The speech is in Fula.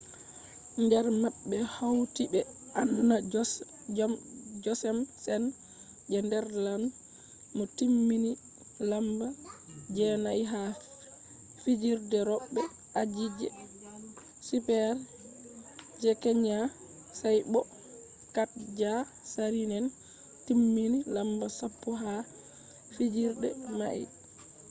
der mabbe hauti be anna jochemsen je netherlands mo timmini lamba je'nai ha fijirde robe aji je super-g kenya sai bo katja saarinen timmini lamba sappo ha fijirde mai